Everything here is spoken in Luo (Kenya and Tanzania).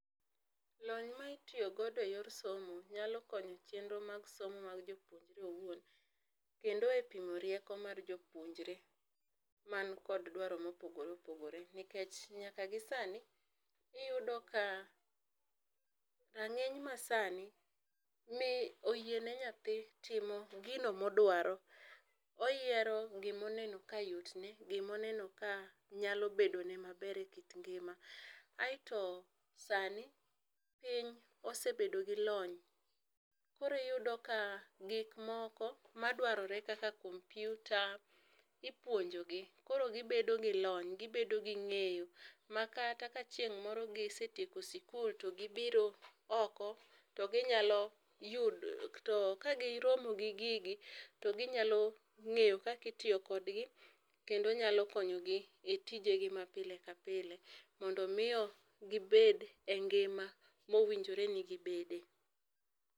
Lony ma itiyo godo e yor somo nyalo konyo e chenro mag somo mar jopuonjre owuon kendo e pimo rieko mar jopunjre man kod dwaro ma opogore opogore nikech nyaka gi sani iyudo ka rangeny ma sani ni oyie ne nyathindo yiero gino ma odwaro. Oyiero gi ma oneno ka yot ne, gi ma oneno ka nyalo bedo ne ma ber e kit ngima. Aito sani piny osebedo gi lony koro iyudo ka gik moko ma dwarore kaka kompyuta ipuonjo gi koro gi bedo gi lony, gi bedo gi ng'eyo ma kata ka chieng moro gisetieko skul gi biro oko to gi nyalo yudo to ka gi romo gi gigi to gi nyalo ng'eyo kaka itiyo kod gi kendo nyalo konyo gi e tije gi ma pile ka pile, mondo mi gi bed e ngima ma owinjore gi bede.